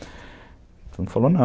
não